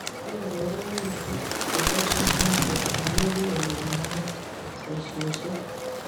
Kikongeringitu chelososnatet amu kikonyor neranik boisioshek